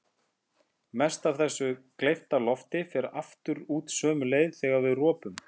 Mest af þessu gleypta lofti fer aftur út sömu leið þegar við ropum.